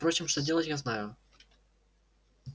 впрочем что делать я знаю